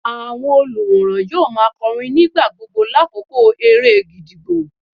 Àwọn olùwòran yóò má a kọrin nígbà gbogbo lákòókò eré gídígbò.